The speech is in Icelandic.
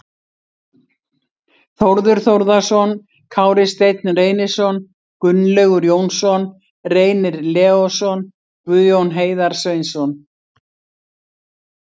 Þórður Þórðarson, Kári Steinn Reynisson, Gunnlaugur Jónsson, Reynir Leósson, Guðjón Heiðar Sveinsson